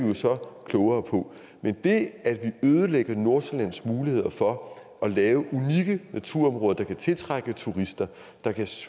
jo så klogere på men det at vi ødelægger nordsjællands muligheder for at lave unikke naturområder der kan tiltrække turister der kan